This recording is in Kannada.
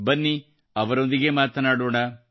ಬನ್ನಿ ಅವರೊಂದಿಗೇ ಮಾತನಾಡೋಣ